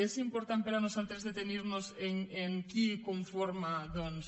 és important per nosaltres detenirnos en qui conforma doncs